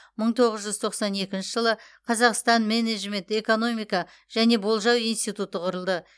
мың тоғыз жүз тоқсан екінші жылы қазақстан менеджмент экономика және болжау институты құрылды